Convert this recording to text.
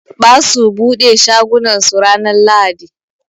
Ɓasu ɓude shagunan su ranan lahaɗi.